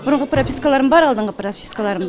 бұрынғы пропискаларым бар алдыңғы пропискаларым